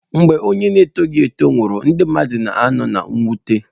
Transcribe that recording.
Mgbe onye na-eto eto nwụrụ, ndị mmadụ na-ano na mwute.